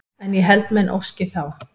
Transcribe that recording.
En ég held menn óski þá